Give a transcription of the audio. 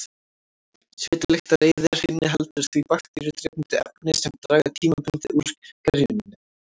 Svitalyktareyðir inniheldur því bakteríudrepandi efni sem draga tímabundið úr gerjuninni.